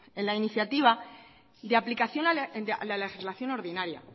en la iniciativa de aplicación de la legislación ordinaria